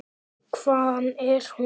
Hvaðan er hún?